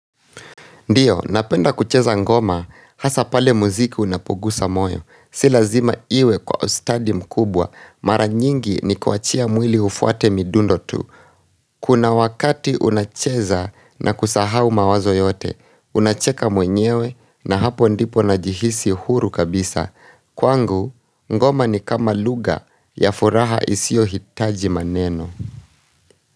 Ndio, napenda kucheza ngoma, hasa pale muziki unapogusa moyo, si lazima iwe kwa ustadi mkubwa, mara nyingi ni kuachia mwili ufuate midundo tu. Kuna wakati unacheza na kusahau mawazo yote, unacheka mwenyewe na hapo ndipo najihisi huru kabisa, kwangu ngoma ni kama lugha ya furaha isiyo hitaji maneno.